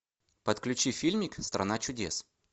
подключи фильмик страна чудес